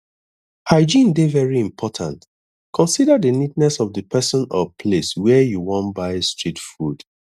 hygiene dey very important consider di neatness of di person or place where you wan buy street food